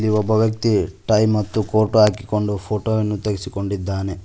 ಇಲ್ಲಿ ಒಂದು ವ್ಯಕ್ತಿ ಟೈ ಮತ್ತು ಕೋರ್ಟ್ ಅನ್ನು ಹಾಕಿ ಫೋಟೊ ವನ್ನು ತೆಗೆಸಿಕೊಂಡಿದ್ದಾನೆ.